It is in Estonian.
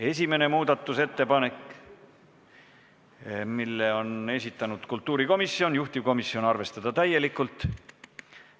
Esimene muudatusettepanek, mille on esitanud kultuurikomisjon, juhtivkomisjoni seisukoht on arvestada täielikult.